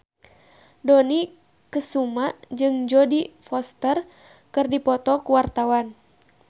Dony Kesuma jeung Jodie Foster keur dipoto ku wartawan